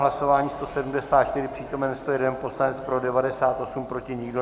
Hlasování 174, přítomen 101 poslanec, pro 98, proti nikdo.